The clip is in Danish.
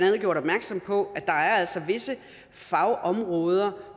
har gjort opmærksom på altså er visse fagområder